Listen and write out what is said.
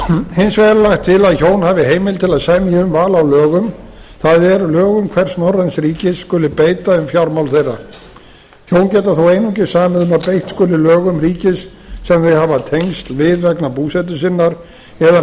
hins vegar er lagt er til að hjón hafi heimild til að semja um val á lögum það er lögum hvers norræns ríkis skuli beita um fjármál þeirra hjón geta þó einungis samið um að beitt skuli lögum ríkis sem þau hafa tengsl við vegna búsetu sinnar eða